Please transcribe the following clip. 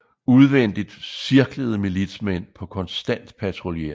Udvendigt cirklede militsmænd på konstant patruljering